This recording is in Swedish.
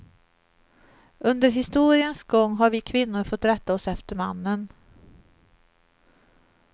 Under historiens gång har vi kvinnor fått rätta oss efter mannen.